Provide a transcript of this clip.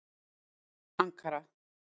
Ankara